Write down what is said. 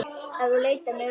Ef þú leitar mig uppi.